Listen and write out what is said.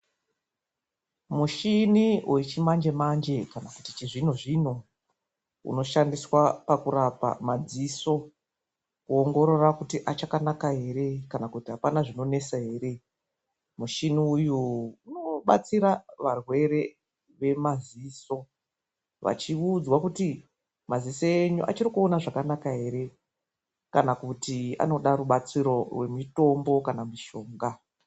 Mushini wechimanjemanje kana kuti chizvinozvino unoshandiswa pakurapa madziso, kuongorora kuti achakanaka ere kana kuti apana zvinonesa ere. Mushini uyu unobatsira varwere vemaziso vachiudzwa kuti maziso enyu achiri kuona zvakanaka ere, kana kuti anoda rubatsiro rwemitombo kana mishonga.